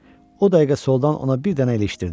O dəqiqə soldan ona bir dənə ilişdirdi.